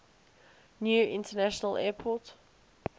new international airport